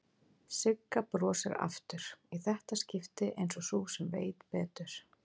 Sigga brosir aftur, í þetta skipti einsog sú sem veit betur.